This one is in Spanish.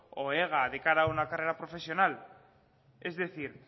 o ega de cara a una carrera profesional es decir